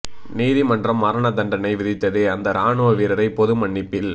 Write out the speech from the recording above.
நீதிமன்றம் மரண தண்டனை விதித்தது அந்த இராணுவ வீரரை பொது மன்னிப்பில்